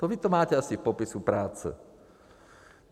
To vy to máte asi v popisu práce.